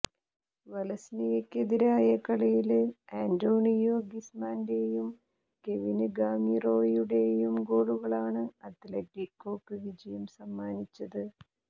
വലന്സിയക്കെതിരായ കളിയില് അന്റോണിയോ ഗ്രിസ്മാന്റെയും കെവിന് ഗാമിറോയുടെയും ഗോളുകളാണ് അത്ലറ്റികോക്ക് വിജയം സമ്മാനിച്ചത്